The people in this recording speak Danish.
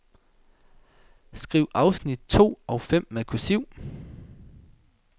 Skriv afsnit to og fem med kursiv.